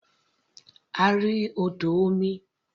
A rí odò omi.